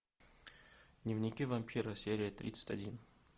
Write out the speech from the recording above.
дневники вампира серия тридцать один